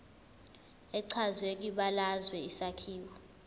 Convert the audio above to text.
echazwe kwibalazwe isakhiwo